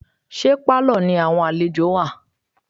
Ṣé Pálọ̀ ni àwọn àlejò wà?